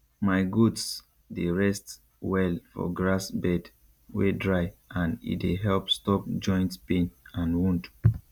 my goats dey rest well for grass bed wey dry and e dey help stop joint pain and wound